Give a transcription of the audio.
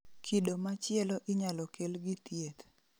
Kido ma chielo inyalo kel gi thieth